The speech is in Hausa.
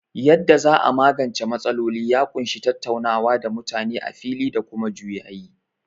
Yadda za a magance matsaloli ya ƙunshi tattaunawa da mutane a fili da kuma juyayi.